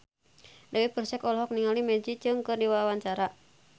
Dewi Persik olohok ningali Maggie Cheung keur diwawancara